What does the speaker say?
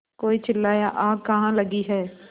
कोई चिल्लाया आग कहाँ लगी है